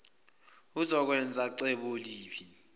uzokwenza cebo liphi